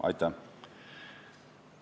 Aitäh!